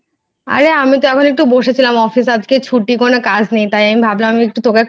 আরে আমি তো একটু বসেছিলাম আজকে ছুটি কোনো কাজ নেই তাই আমি ভাবলাম আমি একটু